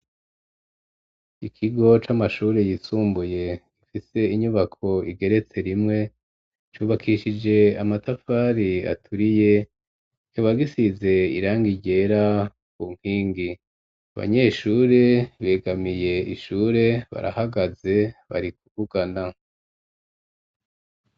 Ikigo c'amashure yisumbuye gifise inyubako igeretse rimwe cubakishije amatafari aturiye kibagisize irangi ryera ku nkingi abanyeshuri begamiye ishure barahagaze bari kuvugana.